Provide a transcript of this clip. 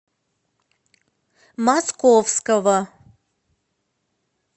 московского